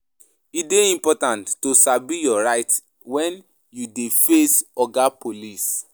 E dey important to sabi your rights wen you dey face Oga Police.